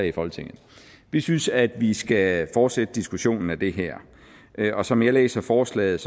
i folketinget vi synes at vi skal fortsætte diskussionen af det her og som jeg læser forslaget